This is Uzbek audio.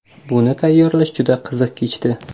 Buni tayyorlash juda qiziq kechdi”.